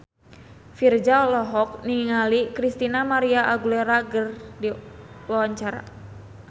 Virzha olohok ningali Christina María Aguilera keur diwawancara